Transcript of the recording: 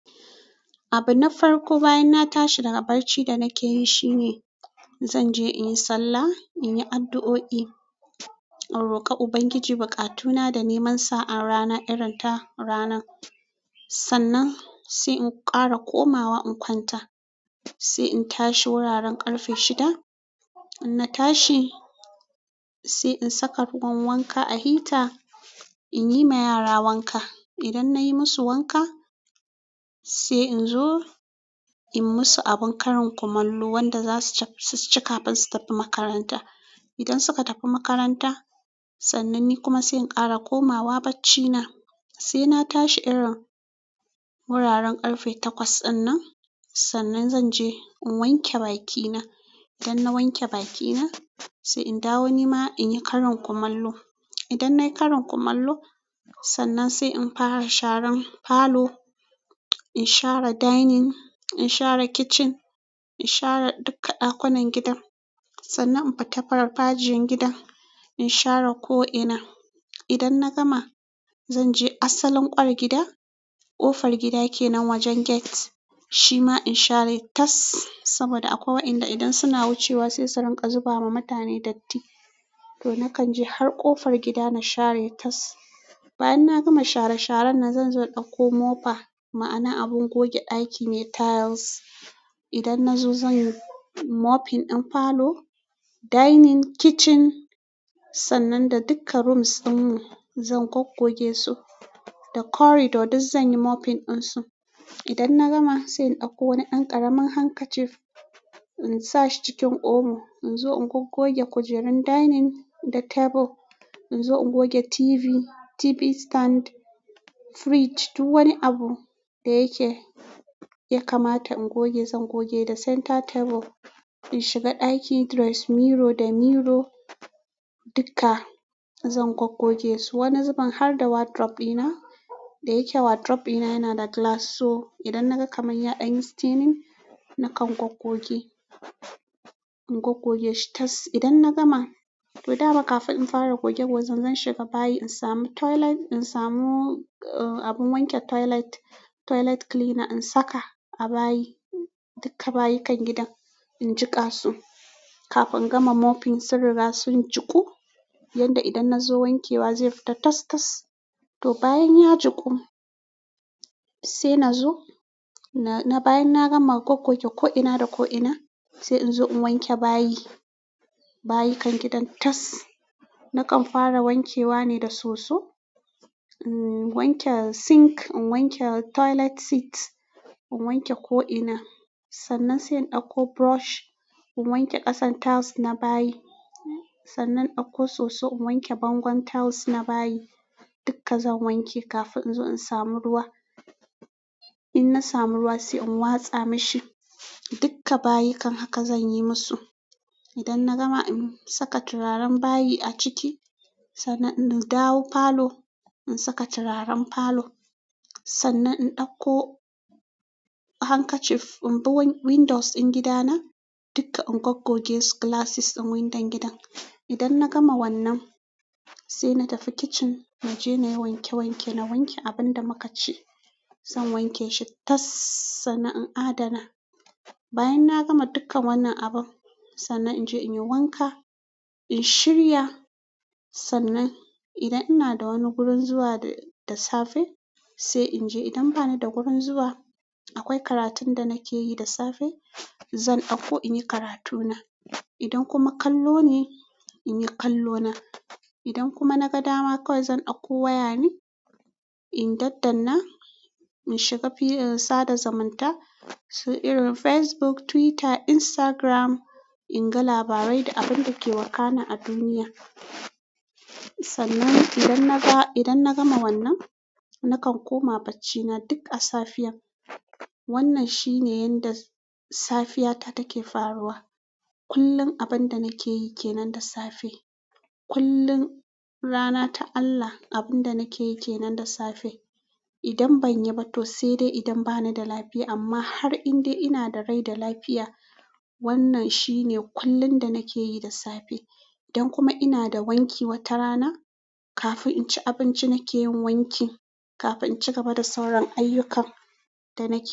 Abu na farko bayan na tashi daga barci da nake yi shine, zan je in yi sallah, in yi addu'o'i, in roƙa Ubangiji buƙatuna da neman sa'a rana irin ta ranan. Sannan, sai in ƙara komawa in kwanta. Se in tashi wuraren ƙarfe shida in na tashi, sai in saka ruwan wanka a heater, in yi ma yara wanka. Idan na yi musu wanka, sai in zo in yi masu abun karin kumallo wanda za su ci kafin su tafi makaranta. Idan suka tafi makaranta sannan sai in ƙara komawa barci na sai na tashi irin wuraren ƙarfe takwas ɗinnan. Sannan, zan je in wanke bakina. Idan na wanke bakina, sai in dawo ni ma in yi karin kumallo. Idan na yi karin kumallo, sannan sai in fara sharan falo, in share dining, in share kitchen, in share duka ɗakunan gidan. Sannan in fita farfajiyan gidan, in share ko'ina. Idan na gama, zan je asalin ƙwar gida. Ƙofar gida ke nan wajen gate. Shi ma in share tas, saboda akwai wai'nda idan suna wucewa sai sun rinƙa zuba ma mutane datti. Toh nakan je har ƙofar gida na share tas. Bayan na gama share-sharan nan zan zo ɗauko mopper, ma'ana abin goge ɗaki me tiles. Idan nazo zan yi mopping in parlor, dining, kitchen sannan da dukka rooms ɗinmu zan gwaggoge su, da corridor duk zan yi mopping ɗin su. Idan na gama sai in ɗauko wani ɗan ƙaramin handkerchief in sa shi cikin omo, in zo in gwaggoge kujerun dining da table. In zo in goge TV, TV stand, fridge, duk wani abu da yake ya kamata in goge zan goge, da center table. In shiga ɗaki, dress mirror da mirror. Duka zan gwaggoge su. Wani zubin har da wardrobe ina da yake wardrobe ɗina yana da glass so idan na ga kamanya an yi staining na kan ɗan gwaggoge. In gwaggoge shi tas. Idan na gama, toh daga kafin in fara goge gwagen zan shiga bayi in samu toilet, in samu abun wanke toilet, toilet cleaner in saka a bayi, dukka bayikan gidan in jiƙa su, kafin in gama mopping sun riga sun jiƙu, yadda idan nazo wankewa ze fita tas-tas. To bayan ya juku, sai na zo na bayan na gama gwaggoke ko'ina da ko'ina, sai in zo in wanke bayi, bayikan gidan tas. Nakan fara wankewa ne da soso. In wanke sink, in wanke toilet seat, in wanke ko ina. Sannan sai in ɗauko brush in wanke ƙasan tiles na bayi. Sannan ɗauko soso in wanke bangon tiles na bayi. Dukka zan wanke kafin inzo in samu ruwa in na samu ruwa sai in watsa mishi. Duka bayikan haka zan yi musu. Idan na gama, in saka turaren bayi a ciki, sannan in dawo parlor, in saka turaren parlor. Sannan in ɗauko handkerchief in bi windows ɗin gida na dukka in gwaggoge su glasses ɗin windon gidan. Idan na gama wannan, sai na tafi kitchen mu je muyi wanke wanke. Na wanke abin da muka ci, zan wanke shi tas. Sannan in adana. Bayan na gama dukan wannan abun, sannan in je in yi wanka, in shirya. Sannan idan ina da wani gurin zuwa da safe, sai in je. Idan ba ni da gurin zuwa, akwai karatun da nake yi da safe, zan ɗauko in yi karatuna. Idan kuma kallo ne, in yi kallo na. Idan kuma na ga dama kawai zan ɗauko waya ne, in daddana, in shiga filin sada zamanta su irin Facebook, Twitter, Instagram, in ga labarai da abin da ke wakana a duniya. Sannan idan naga, idan na gama wannan, na kan koma baccina duk a safiyar. Wannan shine yanda safiya ta take faruwa. Kullum abun da nake yi ke nan da safe. Kullum rana ta Allah abun da nake yi ke nan da safe. Idan ban yi ba toh sedai idan banida lafiya. Amma har in dai ina da rai da lafiya, wannan shine kullum da nake yi da safe. Idan kuma ina da wanki wata rana, kafin inci abinci nake yin wanki, kafin in cigaba da sauran ayyukan da nake yi.